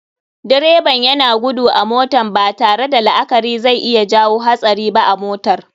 Direban yana gudu a motan, batare da la akari zai iya jawo hatsari ba a motar.